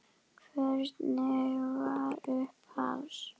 Hvernig var upphafs?